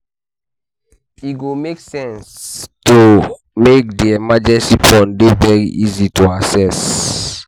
E go make sense to make di emergency fund dey very easy to assess